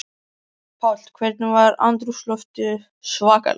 Páll: Hvernig var andrúmsloftið svakalegt?